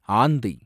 ஆந்தை